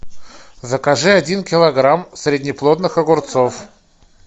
закажи один килограмм среднеплодных огурцов